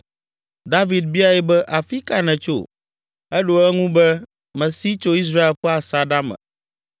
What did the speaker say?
David biae be, “Afi ka nètso?” Eɖo eŋu be, “Mesi tso Israel ƒe asaɖa me.”